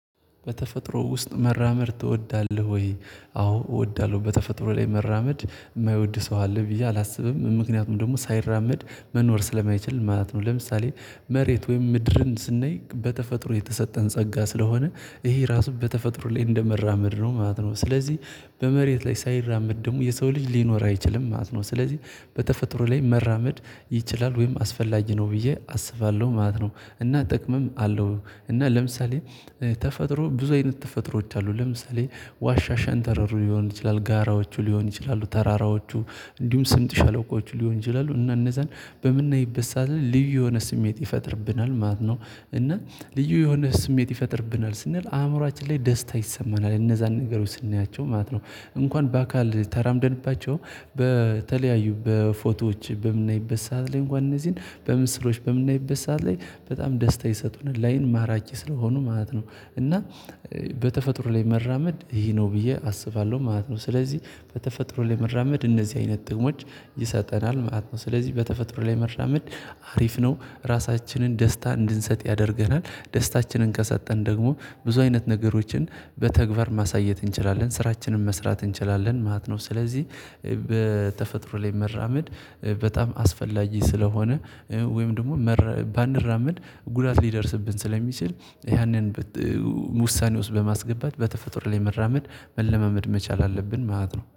በተፈጥሮ ውስጥ መራመድ ትወዳለህ ወይ? አዎ እወዳለሁ በተፈጥሮ ላይ መራመድ የማይወድ ሰው አለ ብዬ አላስብም ምክንያቱም ደግሞ ሳይራመድ መኖር ስለማይችል ማለት ነው። ለምሳሌ መሬት ወይም ምድርን ስናይ በተፈጥሮ የተሰጠን ጸጋ ስለሆነ ይሄ ራሱ በተፈጥሮ ላይ እንደመራመድ ነው ማለት ነው። ስለዚህ በመሬት ላይ ሳይራመድ ደግሞ የሰው ልጅ ሊኖር አይችልም ማለት ነው። ስለዚህ በተፈጥሮ ላይ መራመድ ይችላል ወይም አስፈላጊ ነው ብዬ አስባለሁ ማለት ነው። እና ጥቅምም አለው እና ለምሳሌ ተፈጥሮ ብዙ አይነት ተፈጥሮዎች አሉ። ለምሳሌ ዋሻ ሸንተረር ሊሆን ይችላል ጋራዎቹ ሊሆን ይችላሉ ተራራዎቹ እንዲሁም ስምጥ ሸለቆዎቹ ሊሆን ይችላሉ እና እነዛን በምናይ ጊዜ ልዩ የሆነ ስሜት ይፈጥርብናል ማለት ነው። እና ልዩ የሆነ ስሜት ይፈጥርብናል ስንል አእምሮአችን ላይ ደስታ ይሰማናል እነዛን ነገሮች ስናያቸው ማለት ነው። እንኳን በአካል ተራምደንባቸው በተለያዩ በፎቶዎች በምናይበት ሰዓት ላይ እንኳን እነዚህን በምስሎች በምናይበት ሰዓት ላይ በጣም ደስታ ይሰጡናል ላይን ማራኪ ስለሆኑ ማለት ነው። እና በተፈጥሮ ላይ መራመድ ይሄ ነው ብዬ አስባለሁ ማለት ነው። ስለዚህ በተፈጥሮ ላይ መራመድ እነዚህ አይነት ጥቅሞች ይሰጠናል ማለት ነው። ስለዚህ በተፈጥሮ ላይ መራመድ አሪፍ ነው ራሳችንን ደስታ እንድንሰጥ ያደርገናል ደስታችንን ከሰጠን ደግሞ ብዙ አይነት ነገሮችን በተግባር ማሳየት እንችላለን ስራችንን መስራት እንችላለን ማለት ነው። ስለዚህ በተፈጥሮ ላይ መራመድ በጣም አስፈላጊ ስለሆነ ወይም ደግሞ ባንራመድ ጉዳት ሊደርስብን ስለሚችል ያንን ውሳኔ ውስጥ በማስገባት በተፈጥሮ ላይ መራመድ መለማመድ መቻል አለብን ማለት ነው